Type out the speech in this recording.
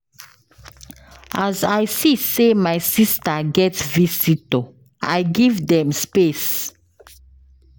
As I see sey my sista get visitor, I give dem space.